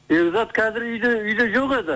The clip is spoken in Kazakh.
бекзат қазір үйде жоқ еді